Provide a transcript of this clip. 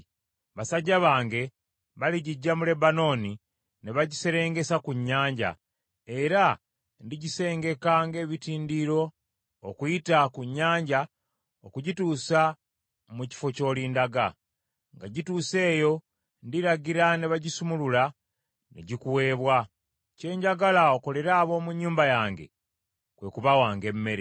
Basajja bange baligiggya mu Lebanooni ne bagiserengesa ku nnyanja, era ndigisengeka ng’ebitindiro okuyita ku nnyanja okugituusa mu kifo ky’olindaga. Nga gituuse eyo ndiragira ne bagisumulula, ne gikuweebwa. Kye njagala okolere ab’omu nnyumba yange, kwe kubawanga emmere.”